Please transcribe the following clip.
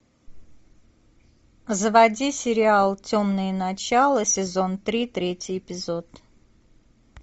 заводи сериал темное начало сезон три третий эпизод